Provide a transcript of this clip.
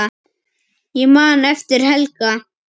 Ég man eftir Helga.